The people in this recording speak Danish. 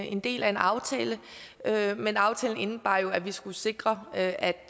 en del af en aftale men aftalen indebar jo at vi skulle sikre at